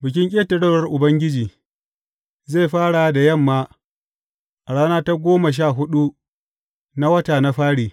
Bikin Ƙetarewar Ubangiji, zai fara da yamma a ranar goma sha huɗu na wata na fari.